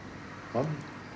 mann